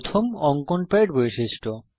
প্রথম অঙ্কন প্যাড বৈশিষ্ট্য